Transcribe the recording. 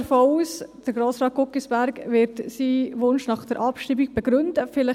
Ich gehe davon aus, dass Grossrat Guggisberg seinen Wunsch nach der Abschreibung begründen wird.